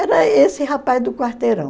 Era esse rapaz do quarteirão.